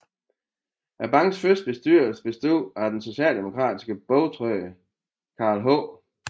Bankens første bestyrelse bestod af den socialdemokratiske bogtrykker Carl H